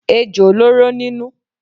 Ejò lóró nínú.